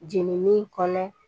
Jenini kɔnɔ